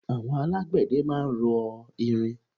Àwọn alágbẹ̀dẹ máa ń rọ irin.